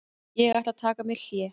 Ég ætla að taka mér hlé.